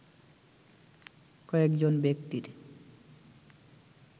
কয়েকজন ব্যক্তির